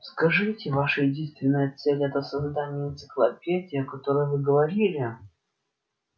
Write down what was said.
скажите ваша единственная цель это создание энциклопедии о которой вы говорили